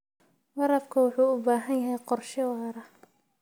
Waraabka wuxuu u baahan yahay qorshe waara.